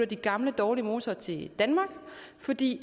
de gamle dårlige motorer til danmark fordi